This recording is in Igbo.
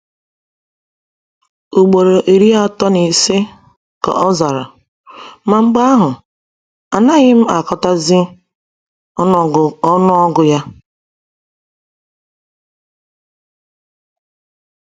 “Ugboro iri atọ na ise,” ka ọ zara, “ma mgbe ahụ, anaghị m agụtazi ọnụọgụ ya.”